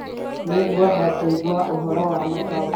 Nĩngwenda kũigua ũhoro wa Motown